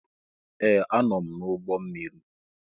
Ee! Anọ m n'ụgbọ mmiri.